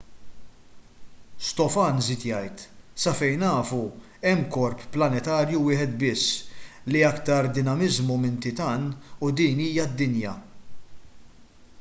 stofan żied jgħid sa fejn nafu hemm korp planetarju wieħed biss li juri iktar dinamiżmu minn titan u din hija d-dinja